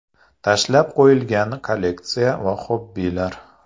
Tashlab qo‘yilgan kolleksiya va xobbilar.